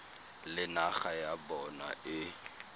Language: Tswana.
le naga ya bona e